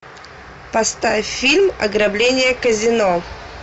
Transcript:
поставь фильм ограбление казино